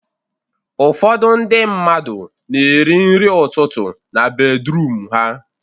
Ụfọdụ ndị mmadụ na-eri nri ụtụtụ na bedruum ha